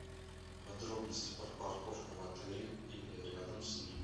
подробности про парковку в отеле или рядом с ним